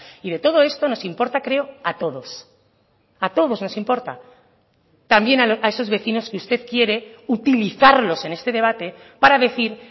y de todo esto nos importa creo a todos a todos nos importa también a esos vecinos que usted quiere utilizarlos en este debate para decir